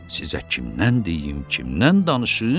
Sizə kimdən deyim, kimdən danışım?